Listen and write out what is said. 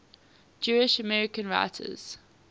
jewish american writers